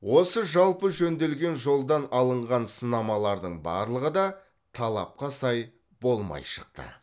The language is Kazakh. осы жалпы жөнделген жолдан алынған сынамалардың барлығы да талапқа сай болмай шықты